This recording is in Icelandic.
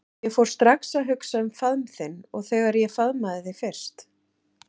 Ég fór strax að hugsa um faðm þinn og þegar ég faðmaði þig fyrst.